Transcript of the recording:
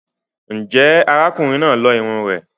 Ǹjẹ́ ará kùnrin náà lo irunn rẹ̀?